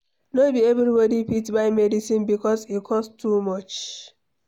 No be everybody fit buy medicine because e cost too much.